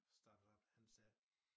Startede op han sagde